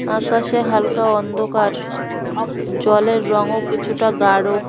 আকাশে হালকা অন্ধকার জলের রঙও কিছুটা গাঢ়।